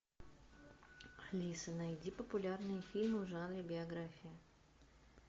алиса найди популярные фильмы в жанре биография